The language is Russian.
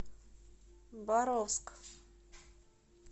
боровск